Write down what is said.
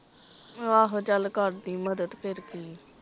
ਆਹੋ, ਚੱਲ ਕਰ ਦੀਂ ਮਦਦ ਫੇਰ ਕਿ ਹੈ।